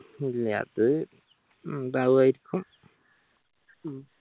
ഇല്ല അത് ഉണ്ടായിരിക്കും